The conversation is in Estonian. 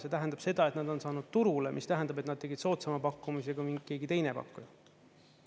See tähendab seda, et nad on saanud turule, mis tähendab, et nad tegid soodsama pakkumise kui keegi teine pakkuja.